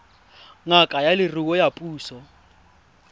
ngaka ya leruo ya puso